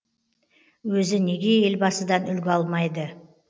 өзі неге елбасыдан үлгі алмайды